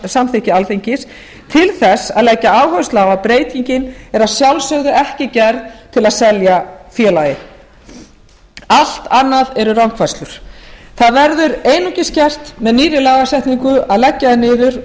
samþykki alþingis til þess að leggja áherslu á að breytingin er að sjálfsögðu ekki gerð til að selja félagið allt annað eru rangfærslur það verður einungis gert með nýrri lagasetningu að leggja það niður